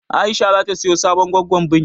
Aisha zata siya sabon goggon biri.